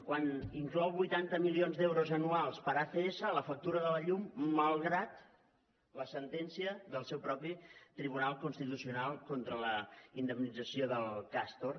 quan inclou vuitanta milions d’euros anuals per a acs a la factura de la llum malgrat la sentència del seu propi tribunal constitucional contra la indemnització del castor